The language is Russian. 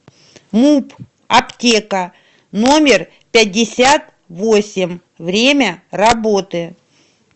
муп аптека номер пятьдесят восемь время работы